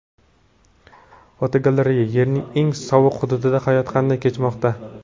Fotogalereya: Yerning eng sovuq hududida hayot qanday kechmoqda?.